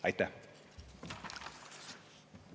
Aitäh!